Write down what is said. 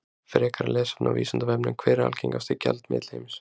Frekara lesefni á Vísindavefnum: Hver er algengasti gjaldmiðill heims?